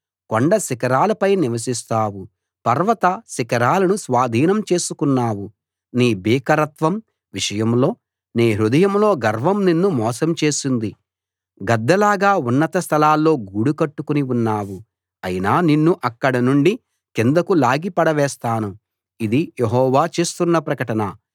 కొండ శిఖరాలపై నివసిస్తావు పర్వత శిఖరాలను స్వాధీనం చేసుకున్నావు నీ భీకరత్వం విషయంలో నీ హృదయంలో గర్వం నిన్ను మోసం చేసింది గద్దలాగా ఉన్నత స్థలాల్లో గూడు కట్టుకుని ఉన్నావు అయినా నిన్ను అక్కడనుండి కిందకు లాగి పడవేస్తాను ఇది యెహోవా చేస్తున్న ప్రకటన